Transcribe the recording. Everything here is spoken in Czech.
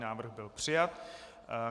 Návrh byl přijat.